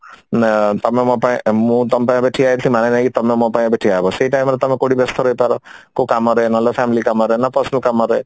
ଏ ତମେ ମୋ ପାଇଁ ମୁଁ ତମ ପାଇଁ ଏବେ ଠିଆ ହେବି ମାନେ ନାହିଁ କି ତମେ ମୋ ପାଇଁ ଏବେ ଠିଆ ହବ ସେଇ time ରେ ତମେ କଉଠି ବ୍ୟସ୍ତ ରହିପାର କଉ କାମରେ ନହେଲେ family କାମରେ ନହେଲେ personal କାମରେ